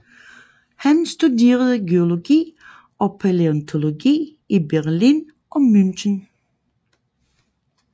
Han studerede geologi og palæontologi i Berlin og München